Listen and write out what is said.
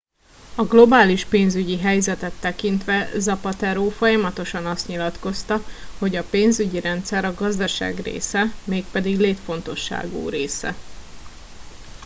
"a globális pénzügyi helyzetet tekintve zapatero folyamatosan azt nyilatkozta hogy "a pénzügyi rendszer a gazdaság része mégpedig létfontosságú része.